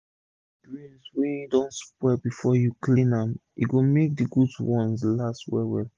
if u remove d grains wey don spoil before u clean am e go make d good ones last well well